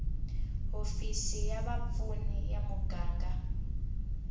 hofisi va vapfuni ya muganga